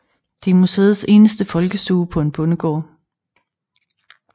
Det er museets eneste folkestue på en bondegård